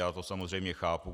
Já to samozřejmě chápu.